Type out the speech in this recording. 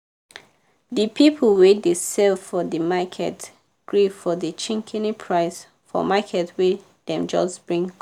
di people wey dey sell for di market gree for di shikini price for market wey dem just bring come.